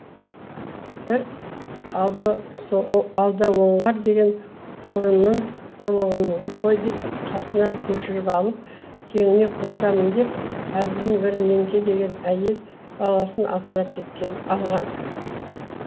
бір алдаоңғар деген ұрыны ұрлығыңды қой деп қасына көшіріп алып теңіне қосамын деп әлгінің бір меңке деген әйел баласын асырап алған